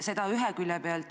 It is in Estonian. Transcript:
Seda ühe külje pealt.